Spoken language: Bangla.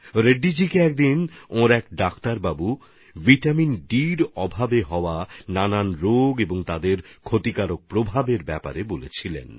রেড্ডিজির এক চিকিৎসক বন্ধু তাঁকে একবার ভিটামিন ডির অভাবে বিভিন্ন রোগের বিপদ সম্পর্কে বলেছিলেন